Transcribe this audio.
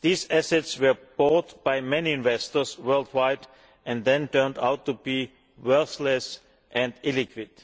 These assets were bought by many investors worldwide and then turned out to be worthless and illiquid.